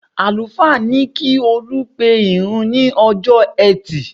Àlùfáà ní kí Olú pe ìrun ní ọjọ́ ẹtì